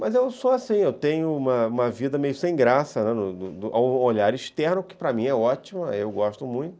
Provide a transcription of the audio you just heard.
Mas eu sou assim, eu tenho uma uma vida meio sem graça, um olhar externo que para mim é ótimo, eu gosto muito.